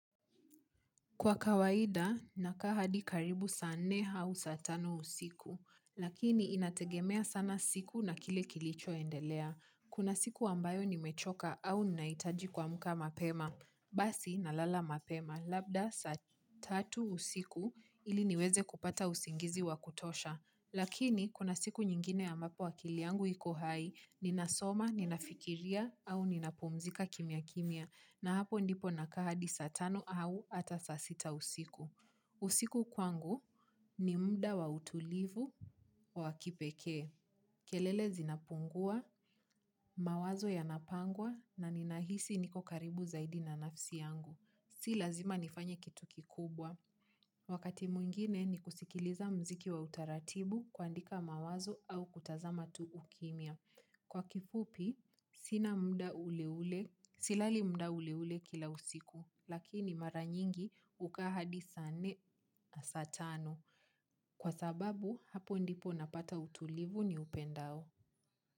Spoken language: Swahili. Kwa kawaida, nakaa hadi karibu saa nne au saa tano usiku, lakini inategemea sana siku na kile kilichoendelea. Kuna siku ambayo nimechoka au ninahitaji kuamka mapema, basi nalala mapema, labda saa tatu usiku ili niweze kupata usingizi wa kutosha. Lakini, kuna siku nyingine ambapo akili yangu iko hai, ninasoma, ninafikiria, au ninapumzika kimya kimya, na hapo ndipo nakaa hadi saa tano au hata saa sita usiku. Usiku kwangu ni muda wa utulivu wa kipekee. Kelele zinapungua, mawazo yanapangwa, na ninahisi niko karibu zaidi na nafsi yangu. Si lazima nifanye kitu kikubwa. Wakati mwingine ni kusikiliza muziki wa utaratibu kuandika mawazo au kutazama tu ukimya. Kwa kifupi, silali muda ule ule kila usiku, lakini mara nyingi hukaa hadi saa nne saa tano. Kwa sababu, hapo ndipo napata utulivu ni upendao.